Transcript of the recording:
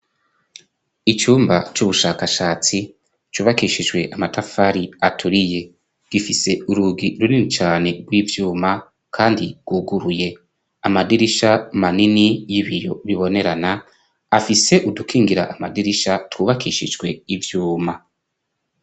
Icumba c'ubushakashatsi cubakishijwe amatafari aturiye. Gifise urugi runini cane rw'iyuma, kandi rwuguruye. Amadirisha manini y'ibiyo bibonerana, afise udukingira amadirisha twubakishijwe ivyuma.